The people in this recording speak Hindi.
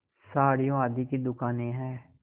साड़ियों आदि की दुकानें हैं